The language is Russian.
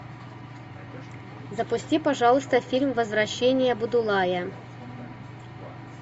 запусти пожалуйста фильм возвращение будулая